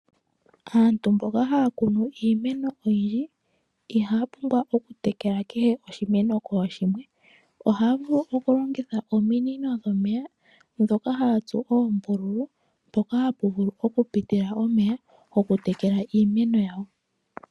Aantu mboka haya kunu iimeno oyindji kehe oshimeno kooshimwe. Ohaya vulu okulongitha ominino ndhoka hadhi tsuwa oombululu mpoka hapu vulu okupitila omeya gokutekela iimeno.